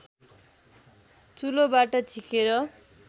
चुलोबाट झिकेर